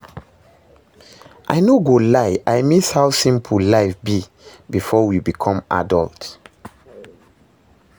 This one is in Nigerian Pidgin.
I no go lie, I miss how simple life be before we become adult